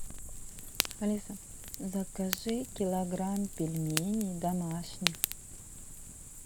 алиса закажи килограмм пельменей домашних